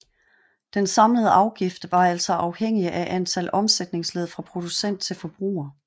Den samlede afgift var altså afhængig af antal omsætningsled fra producent til forbruger